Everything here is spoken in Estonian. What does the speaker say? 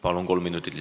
Palun!